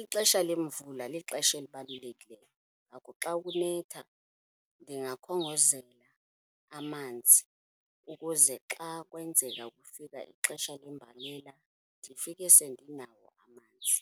Ixesha lemvula lixesha elibalulekileyo, ngako xa kunetha ndingakhongozela amanzi ukuze xa kwenzeka kufika ixesha lembalela, ndifike sendinawo amanzi.